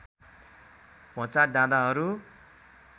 होंचा डाँडाहरू